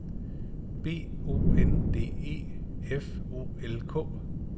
B O N D E F O L K